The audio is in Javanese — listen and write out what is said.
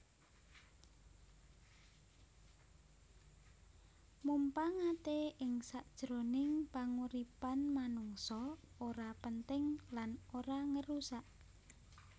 Mumpangate ing sakjroning panguripan manungsa ora penting lan ora ngérusak